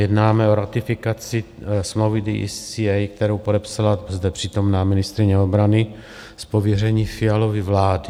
Jednáme o ratifikaci smlouvy DCA, kterou podepsala zde přítomná ministryně obrany z pověření Fialovy vlády.